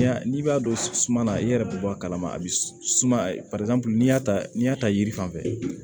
N'i b'a dɔn suma na i yɛrɛ bɛ bɔ a kalama a bɛ suma a n'i y'a ta n'i y'a ta yiri fan fɛ